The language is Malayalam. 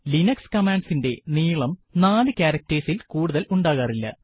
ലിനക്സ് commandsഇൻറെ നീളം നാല് ക്യാരക്ടർസ് ഇൽ കൂടുതൽ ഉണ്ടാകാറില്ല